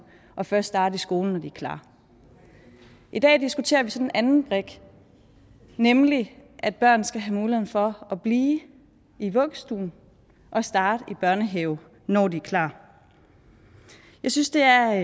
og først starte i skole når de er klar i dag diskuterer vi så den anden brik nemlig at børn skal have muligheden for at blive i vuggestue og starte i børnehave når de er klar jeg synes det er